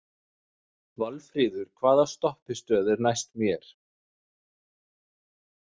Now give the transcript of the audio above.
Valfríður, hvaða stoppistöð er næst mér?